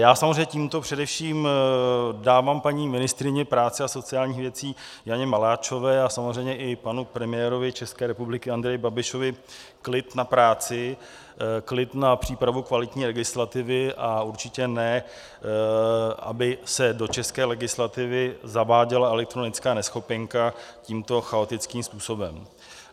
Já samozřejmě tímto především dávám paní ministryni práce a sociálních věcí Janě Maláčové a samozřejmě i panu premiérovi České republiky Andreji Babišovi klid na práci, klid na přípravu kvalitní legislativy, a určitě ne aby se do české legislativy zaváděla elektronická neschopenka tímto chaotickým způsobem.